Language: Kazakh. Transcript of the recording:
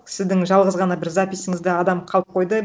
сіздің жалғыз ғана бір записыңызда адам қалып қойды